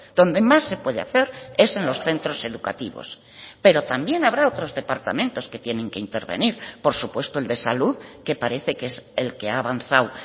donde más se puede hacer es en los centros educativos pero también habrá otros departamentos que tienen que intervenir por supuesto el de salud que parece que es el que ha avanzado